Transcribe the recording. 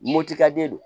Moptikaden do